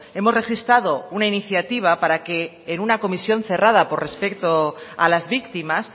hemos registrado una iniciativa para que en una comisión cerrada por respeto a las víctimas